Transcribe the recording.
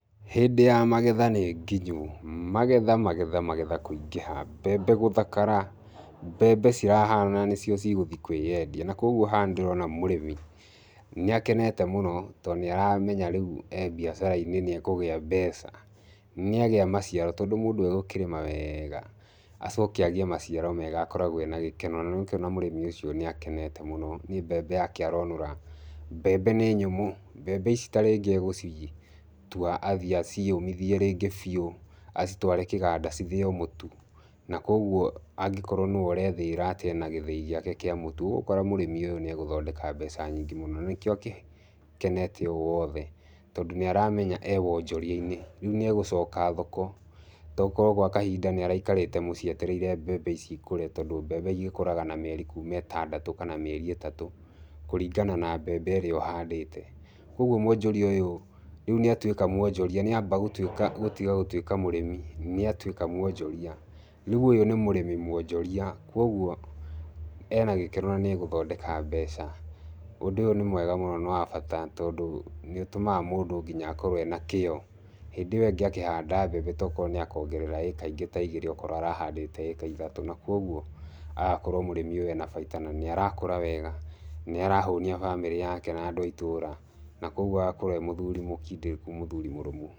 Hĩndĩ ya magetha nĩ nginyu. Magetha magetha magetha kũingĩha. Mbembe gũthakara, mbembe cirahana nĩ cio cigũthi kũĩendia. Na kũguo haha nĩ ndĩrona mũrĩmi, nĩ akenete mũno, to nĩ aramenya ee biacara-inĩ nĩ ekũgĩa mbeca. Nĩ agĩa maciaro, tondũ mũndũ egũkĩrĩma wega, acoke agĩe maciaro mega akoragwo ena gĩkeno. Na nĩ ũrakĩona mũrĩmi ũcio nĩ akenete mũno, nĩ mbembe yake aronora. Mbembe nĩ nyũmũ. Mbembe ici tarĩngĩ egũcitua athiĩ aciũmithie rĩngĩ biũ, acitware kĩganda cithĩo mũtu. Na kũguo angĩkorwo nĩwe ũrethĩĩra atĩ ena gĩthĩi gĩake kĩa mũtu, ũgũkora mũrĩmi ũyũ nĩ egũthondeka mbeca nyingĩ mũno. Na nĩkĩo agĩkenete ũũ wothe, tondũ nĩ aramenya ee wonjoria-inĩ. Rĩu nĩ egũcoka thoko. Tokorwo gwa kahinda nĩ araikarĩte gwa kahinda etereire mbembe ici ikũre, tondũ mbembe igĩkũraga na mĩeri kuuma ĩtandatũ kana kuuma mĩeri ĩtatũ, kũringana na mbembe ĩrĩa ũhandĩte. Kũguo mwonjoria ũyũ rĩu nĩ atuĩka mwonjoria, nĩ amba gũtuĩka gũtiga gũtuĩka mũrĩmi, nĩ atuĩka mwonjoria. Rĩu ũyũ nĩ mũrĩmi mwonjoria. Kũguo ena gĩkeno nĩ egũthondeka mbeca. Ũndũ ũyũ nĩ mwega mũno nĩ wa bata tondũ, nĩ ũtũmaga mũngũ nginya akorwo ena kĩyo. Hĩndĩ ĩyo ĩngĩ akĩnda mbembe tokorwo nĩ akongerera ĩĩka ingĩ ta igĩrĩ okorwo arahandĩte ta ithatũ. Na kũguo agakorwo mũrĩmi ũyũ ena baita na nĩ arakũra wega, nĩ arahũnia bamĩrĩ yake na andũ a itũũra. Na kũguo agakorwo ee mũthuri mũkindĩrĩku mũthuri mũrũmu.